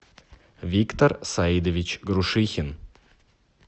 виктор саидович грушихин